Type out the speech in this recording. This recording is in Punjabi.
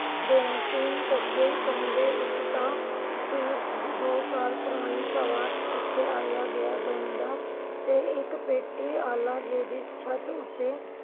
ਤਿੰਨ ਕੋਕੇ, ਕੰਘੇ ਇਕ ਤਾਂ ਦੋ ਸਾਲ ਪੁਰਾਣੀ ਪਿੱਛੇ ਆਇਆ ਗਿਆ ਬਹਿੰਦਾ ਤੇ ਇਕ ਪੇਟੀ ਆਲਾ ਜੀ ਦੀ ਛੱਤ ਉਤੇ